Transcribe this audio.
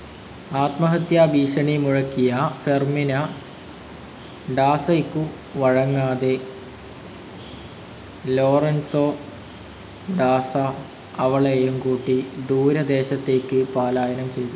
ആത്മഹത്യാഭീഷണി മുഴക്കിയ ഫെർമിന ഡാസയ്ക്കു വഴങ്ങാതെ ലോറൻസോ ഡാസ അവളേയും കൂട്ടി ദൂരദേശത്തേയ്ക്ക് പലായനം ചെയ്തു.